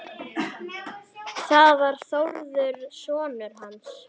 Það var Þórður sonur hans.